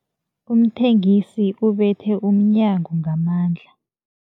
Umthengisi ubethe umnyango ngamandla.